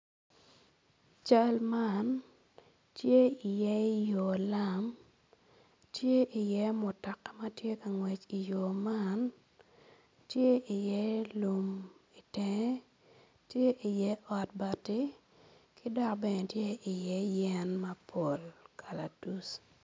Cal man tye iye yo lam tye iye mutoka ma tye ka ngwec i yo man tye iye lum i tenge tye iye ot bati ki dok bene tye iye yen mapol kalatuc.